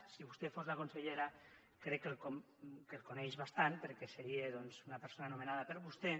si vostè fos la consellera crec que el coneixeria bastant perquè seria una persona nomenada per vostè